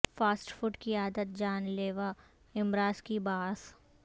fast food کی عادت جان لیوا امراض کی باعث